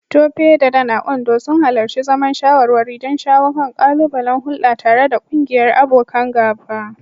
Tope da Dan, a Ondo, sun halarci zaman shawarwari don shawo kan ƙalubalen hulɗa tare da ƙungiyar abokan gaba.